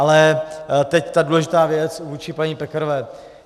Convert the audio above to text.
Ale teď ta důležitá věc vůči paní Pekarové.